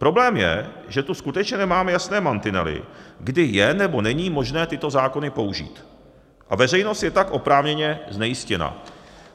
Problém je, že tu skutečně nemáme jasné mantinely, kdy je nebo není možné tyto zákony použít, a veřejnost je tak oprávněně znejistěna.